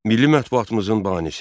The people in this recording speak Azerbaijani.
Milli mətbuatımızın banisi.